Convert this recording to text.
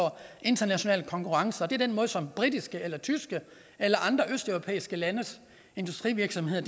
international konkurrence og det er den måde som britiske eller tyske eller østeuropæiske landes industrivirksomheder